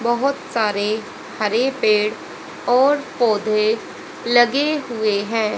बहोत सारे हरे पेड़ और पौधे लगे हुए है।